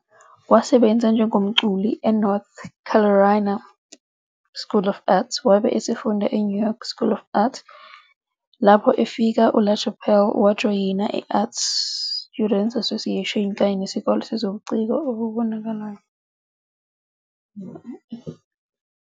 Wasebenza njengomculi eNorth Carolina School of the Arts wabe esefunda eNew York School of the Arts. Lapho efika, uLaChapelle wajoyina i-Art Students Association kanye neSikole Sezobuciko Obubonakalayo.